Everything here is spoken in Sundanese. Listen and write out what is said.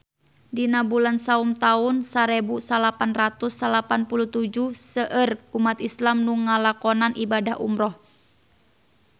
Dina bulan Saum taun sarebu salapan ratus salapan puluh tujuh seueur umat islam nu ngalakonan ibadah umrah